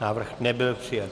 Návrh nebyl přijat.